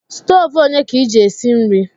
Stove onye ka iji esi nri?